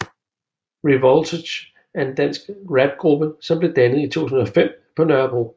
Revoltage er en dansk rapgruppe som blev dannet i 2005 på Nørrebro